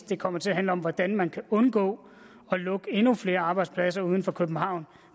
det kommer til at handle om hvordan man kan undgå at lukke endnu flere arbejdspladser uden for københavn